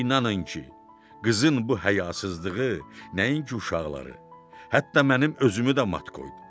İnanın ki, qızın bu həyasızlığı nəinki uşaqları, hətta mənim özümü də mat qoydu.